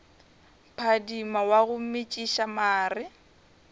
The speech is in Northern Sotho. phadima wa go metšiša mare